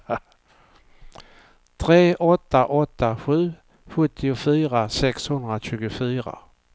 tre åtta åtta sju sjuttiofyra sexhundratjugofyra